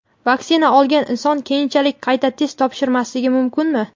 Vaksina olgan inson keyinchalik qayta test topshirmasligi mumkinmi?.